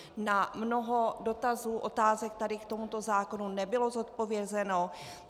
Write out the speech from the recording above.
Na mnoho dotazů, otázek tady k tomu zákonu nebylo zodpovězeno.